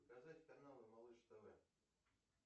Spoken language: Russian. показать каналы малыш тв